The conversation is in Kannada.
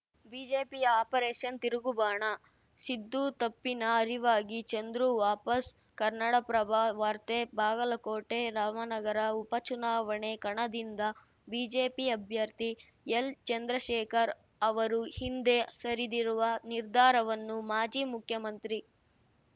ಬಿಜೆಪಿಯ ಆಪರೇಷನ್‌ ತಿರುಗುಬಾಣ ಸಿದ್ದು ತಪ್ಪಿನ ಅರಿವಾಗಿ ಚಂದ್ರು ವಾಪಸ್‌ ಕನ್ನಡಪ್ರಭ ವಾರ್ತೆ ಬಾಗಲಕೋಟೆ ರಾಮನಗರ ಉಪಚುನಾವಣೆ ಕಣದಿಂದ ಬಿಜೆಪಿ ಅಭ್ಯರ್ಥಿ ಎಲ್‌ಚಂದ್ರಶೇಖರ್‌ ಅವರು ಹಿಂದೆ ಸರಿದಿರುವ ನಿರ್ಧಾರವನ್ನು ಮಾಜಿ ಮುಖ್ಯಮಂತ್ರಿ